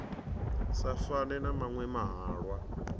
sa fane na maṅwe mahalwa